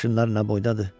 Maşınlar nə boydadır.